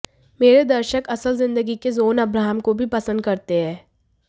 मेरे दर्शक असल जिंदगी के जॉन अब्राहम को भी पसंद करते है